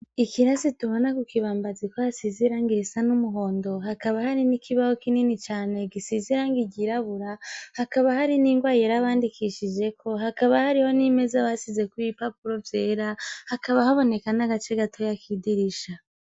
Ikirasi tubona ku kibambazi ko asizirangirisa n'umuhondo hakaba hari n'ikibaho kinini cane gisizirangiryirabura hakaba hari n'ingwa yerabandikishijeko hakaba hariho n'imeze abasizekw ibipapuro vyera hakaba haboneka n'agace gato ya kidirisha.